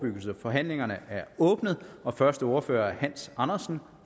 forhandlingerne er åbnet og første ordfører er hans andersen